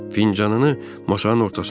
Fincanını masanın ortasına qoydu.